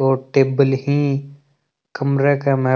और टेबल ही।